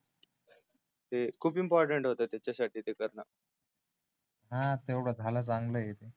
ते खूप इम्पॉर्टन्ट होत ते त्याच्यासाठी ते करणं हा तेवढ झाल चांगल आहे ते